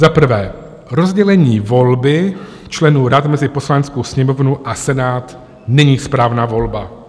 Za prvé rozdělení volby členů rad mezi Poslaneckou sněmovnou a Senát není správná volba.